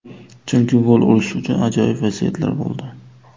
Chunki gol urish uchun ajoyib vaziyatlar bo‘ldi.